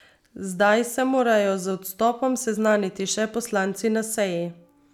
Zdaj se morajo z odstopom seznaniti še poslanci na seji.